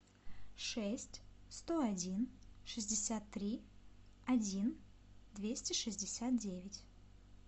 шесть сто один шестьдесят три один двести шестьдесят девять